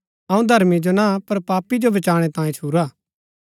अऊँ धर्मी जो ना पर पापी जो बचाणै तांयें छुरा हा